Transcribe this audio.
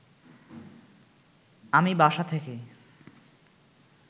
আমি বাসা থেকে